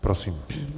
Prosím.